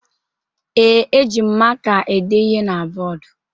Ee, eji m maka ede ihe na bọọdụ